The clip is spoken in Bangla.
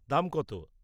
দাম কত?